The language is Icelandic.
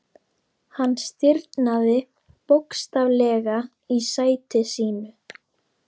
Hann stirðnaði bókstaflega í sæti sínu.